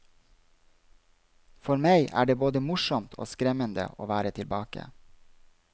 For meg er det både morsomt og skremmende å være tilbake.